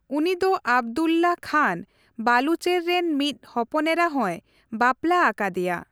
ᱩᱱᱤ ᱫᱚ ᱟᱵᱽᱫᱩᱞᱞᱟᱦᱚ ᱠᱷᱟᱱ ᱵᱟᱞᱩᱪᱮᱨ ᱨᱮᱱ ᱢᱤᱫ ᱦᱚᱯᱚᱱᱮᱨᱟ ᱦᱚᱸᱭ ᱵᱟᱯᱞᱟ ᱟᱠᱟᱫᱮᱭᱟ ᱾